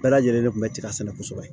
Bɛɛ lajɛlen de kun bɛ tiga sɛnɛ kosɛbɛ